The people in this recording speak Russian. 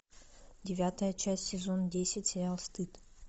девятая часть сезон десять сериал стыд